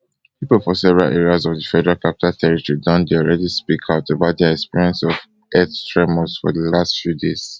pipo for several areas of di federal capital territory don dey speak out about dia experience of earth tremors for di last few days